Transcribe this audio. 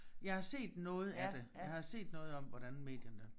Jeg har set noget af det jeg har set noget om hvordan medierne